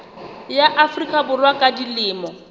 ya afrika borwa ba dilemo